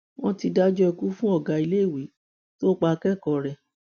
wọn ti dájọ ikú fún ọgá iléèwé tó pa akẹkọọ rẹ